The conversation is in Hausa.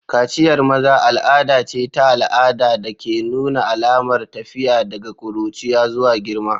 Kaciyar maza al'ada ce ta al'ada da ke nuna alamar tafiya daga ƙuruciya zuwa girma.